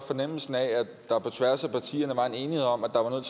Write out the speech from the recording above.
fornemmelsen af at der på tværs af partierne var en enighed om at der var